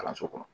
Kalanso kɔnɔ